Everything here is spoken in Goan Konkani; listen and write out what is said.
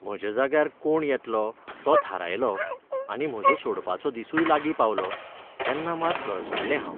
म्हज्या जाग्यार कोण येतलो तो थारायलो आनी म्हजो सोडपाचो दिसूय लागीं पावलो तेन्ना मात गळसणलें हांव.